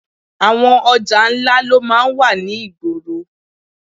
Àwọn ọjà ńlá ló máa ń wà ní ìgboro